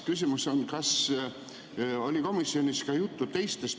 ... küsimus on: kas komisjonis oli juttu ka teistest ...